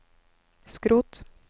skrot